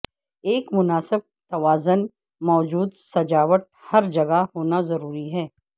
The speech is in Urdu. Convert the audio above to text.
ایک مناسب توازن موجود سجاوٹ ہر جگہ ہونا ضروری ہے